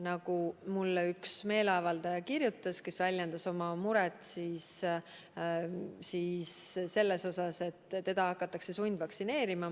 Mulle kirjutas üks meeleavaldaja, kes väljendas oma muret selle üle, et teda hakatakse sundvaktsineerima.